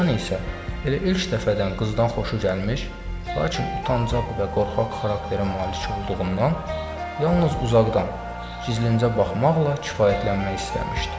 Oğlan isə elə ilk dəfədən qızdan xoşu gəlmiş, lakin utancaq və qorxaq xarakterə malik olduğundan yalnız uzaqdan gizlincə baxmaqla kifayətlənmək istəmişdi.